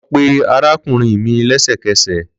Lọ pe arakunrin mi lẹsẹkẹsẹ!